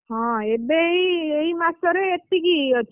ହଁ ଏବେ ଏଇ ମାସରେ ଏତିକି ଅଛି।